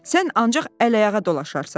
Sən ancaq əl ayağa dolaşarsan.